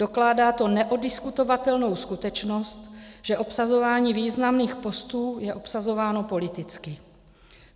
Dokládá to neoddiskutovatelnou skutečnost, že obsazování významných postů je obsazováno politicky.